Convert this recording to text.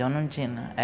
Dona Undina.